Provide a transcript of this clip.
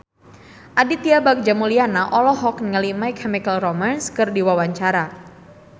Aditya Bagja Mulyana olohok ningali My Chemical Romance keur diwawancara